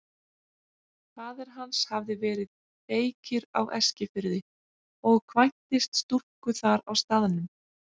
Faðir hans hafði verið beykir á Eskifirði og kvæntist stúlku þar á staðnum.